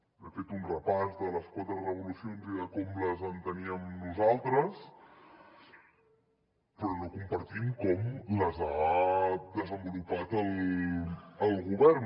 he fet un repàs de les quatre revolucions i de com les enteníem nosaltres però no compartim com les ha desenvolupat el govern